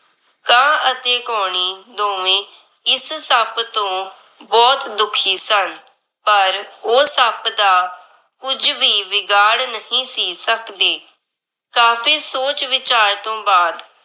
ਕਾਂ ਅਤੇ ਕਉਣੀ ਦੋਵੇਂ ਇਸ ਸੱਪ ਤੋਂ ਬਹੁਤ ਦੁੱਖੀ ਸਨ। ਪਰ ਉਹ ਸੱਪ ਦਾ ਕੁੱਝ ਵੀ ਵਿਗਾੜ ਨਹੀਂ ਸੀ। ਸੱਕਦੇ ਕਾਫ਼ੀ ਸੋਚ ਵਿਚਾਰ ਤੋਂ ਬਾਦ